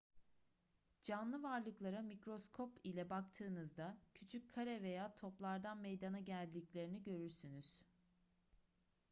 canlı varlıklara mikroskop ile baktığınızda küçük kare veya toplardan meydana geldiklerini görürsünüz